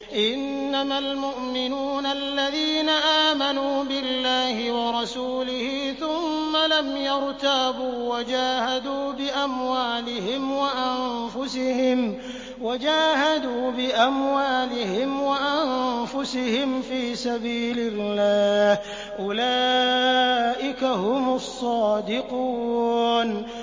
إِنَّمَا الْمُؤْمِنُونَ الَّذِينَ آمَنُوا بِاللَّهِ وَرَسُولِهِ ثُمَّ لَمْ يَرْتَابُوا وَجَاهَدُوا بِأَمْوَالِهِمْ وَأَنفُسِهِمْ فِي سَبِيلِ اللَّهِ ۚ أُولَٰئِكَ هُمُ الصَّادِقُونَ